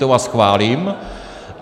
To vás chválím.